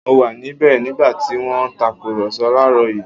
Mo wà níbẹ̀ nígbà tí wọ́n ń tàkùrọ̀sọ láàrọ̀ yìí